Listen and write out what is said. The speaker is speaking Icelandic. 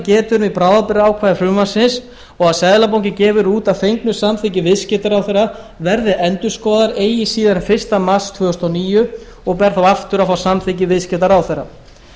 um í bráðabirgðaákvæði frumvarpsins og seðlabankinn gefur út að fengnu samþykki viðskiptaráðherra verði endurskoðaðar eigi síðar en fyrsta mars tvö þúsund og níu og ber þá aftur að fá samþykki viðskiptaráðherra